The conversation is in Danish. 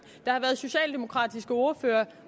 der har været socialdemokratiske ordførere